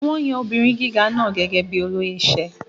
Wón yan ọmọbìnrin gíga náà gẹ́gẹ́ bíi olóyè iṣẹ́.